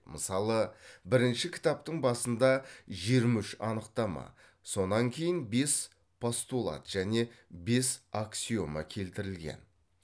мысалы бірінші кітаптың басында жиырма үш анықтама сонан кейін бес постулат және бес аксиома келтірілген